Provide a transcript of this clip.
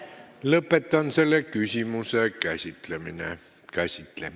Lõpetan selle küsimuse käsitlemise.